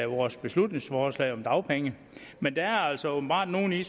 vores beslutningsforslag om dagpenge men der er altså åbenbart nogle i